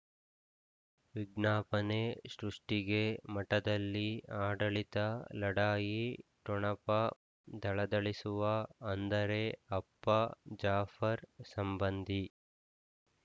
ವಿಜ್ಞಾಪನೆ ಸೃಷ್ಟಿಗೆ ಮಠದಲ್ಲಿ ಆಡಳಿತ ಲಢಾಯಿ ಠೊಣಪ ಧಳಧಳಿಸುವ ಅಂದರೆ ಅಪ್ಪ ಜಾಫರ್ ಸಂಬಂಧಿ